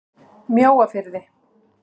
Mjóafirði